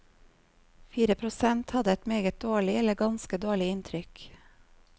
Fire prosent hadde et meget dårlig eller ganske dårlig inntrykk.